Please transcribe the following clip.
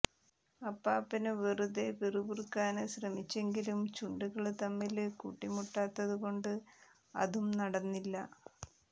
അപ്പാപ്പന് വെറുതെ പിറുപിറുക്കാന് ശ്രമിച്ചെങ്കിലും ചുണ്ടുകള് തമ്മില് കൂട്ടി മുട്ടാത്തതു കൊണ്ട് അതും നടന്നില്ല